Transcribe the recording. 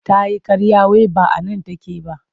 Ta yi ƙarya wai ba a nan take ba.